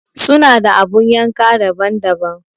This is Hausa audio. Suna da abun yanka daban-daban.